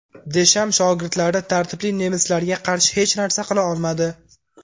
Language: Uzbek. Desham shogirdlari tartibli nemislarga qarshi hech narsa qila olmadi.